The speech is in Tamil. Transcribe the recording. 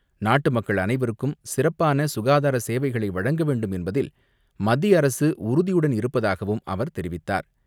நாட்டு மக்கள் அனைவருக்கும் சிறப்பான சுகாதார சேவைகளை வழங்க வேண்டும் என்பதில் மத்திய அரசு உறுதியுடன் இருப்பதாகவும் அவர் தெரிவித்தார்.